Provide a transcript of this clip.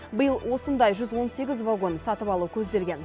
биыл осындай жүз он сегіз вагон сатып алу көзделген